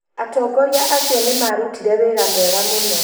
Atongoria acio nĩmarutire wĩra mwega mũno